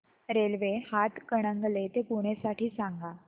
railway Hatkanangale ते पुणे साठी सांगा